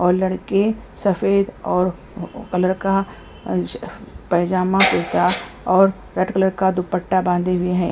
और लड़के सफेद और कलर का पायजामा कुर्ता और रेड कलर का दुपट्टा बांधे हुए हैं।